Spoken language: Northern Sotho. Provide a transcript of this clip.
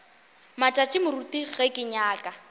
matšatši moruti ge ke nyaka